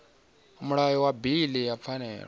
mulayo wa bili ya pfanelo